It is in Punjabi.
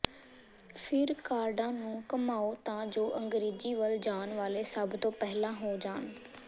ਫਿਰ ਕਾਰਡਾਂ ਨੂੰ ਘੁਮਾਓ ਤਾਂ ਜੋ ਅੰਗ੍ਰੇਜ਼ੀ ਵੱਲ ਜਾਣ ਵਾਲੇ ਸਭ ਤੋਂ ਪਹਿਲਾਂ ਹੋ ਜਾਣ